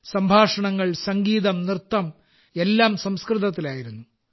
സംഭാഷണങ്ങൾ സംഗീതം നൃത്തം എല്ലാം സംസ്കൃതത്തിലായിരുന്നു